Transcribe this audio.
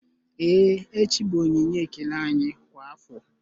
Ee echi bụ onyinye ekele anyị kwa afọ